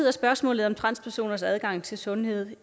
er spørgsmålet om transpersoners adgang til sundhed